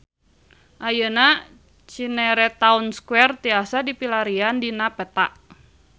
Ayeuna Cinere Town Square tiasa dipilarian dina peta